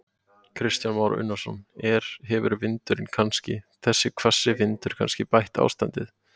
Kristján Már Unnarsson: Er, hefur vindurinn kannski, þessi hvassi vindur kannski bætt ástandið?